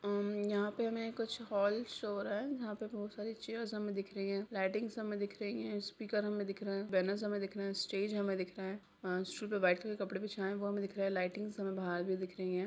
उम्म यहां पर हमे कुछ हॉल शो हो रहे है यहां पर बहुत सारी चेयर्स हमें दिख रही है लाइटिंग्स हमें दिख रही हैं स्पीकर हमें दिख रहे हैं बैनर्स हमें दिख रहे हैं स्टेज हमें दिख रहा है अ स्टूल पे व्हाइट कलर के कपड़े बिछाए हैं वो हमें दिख रहे हैं लाइटिंग्स हमें बाहर भी दिख रही हैं।